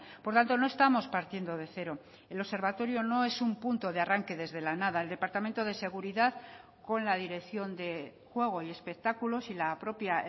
por tanto no estamos partiendo de cero el observatorio no es un punto de arranque desde la nada el departamento de seguridad con la dirección de juego y espectáculos y la propia